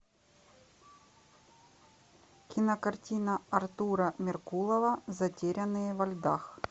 кинокартина артура меркулова затерянные во льдах